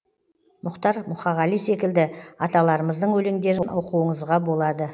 мұхтар мұқағали секілді аталарымыздың өлеңдерін оқуыңызға болады